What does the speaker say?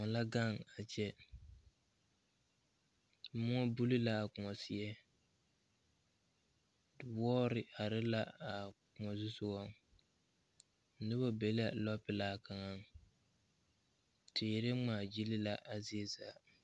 Koɔ la gaŋ a kyɛ moɔ buli la a koɔ seɛŋ wɔɔre are la a koɔ zu sogaŋ noba be la lɔpelaa kaŋa teere ŋmaazili la a zie zaa.